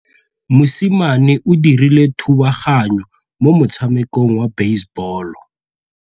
Mosimane o dirile thubaganyô mo motshamekong wa basebôlô.